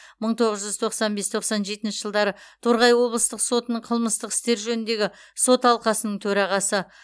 мың тоғыз жүз тоқсан бес тоқсан жетінші жылдары торғай облыстық сотының қылмыстық істер жөніндегі сот алқасының төрағасы